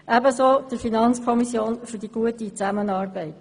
Ebenso danke ich der FiKo für die gute Zusammenarbeit.